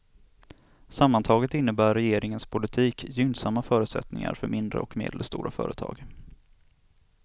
Sammantaget innebär regeringens politik gynnsamma förutsättningar för mindre och medelstora företag.